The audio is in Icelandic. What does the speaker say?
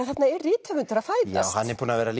þarna er rithöfundur að fæðast hann er búinn að vera